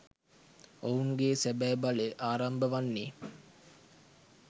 ඔවුන්ගේ සැබැ බලය ආරම්භ වන්නේ